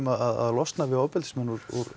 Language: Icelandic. að losna við ofbeldismenn úr